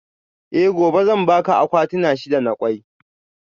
Eh gobe zan baka akwatuna shida na kwai